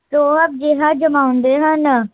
ਰੋਹ੍ਬ ਜਿਹਾ ਜਮਾਉਂਦੇ ਹਨ